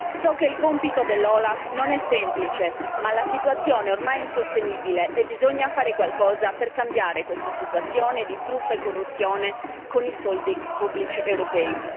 So che il compito dell'OLAF non è semplice ma la situazione ormai è insostenibile e bisogna fare qualcosa per cambiare questa situazione di truffa e corruzione con i soldi pubblici europei.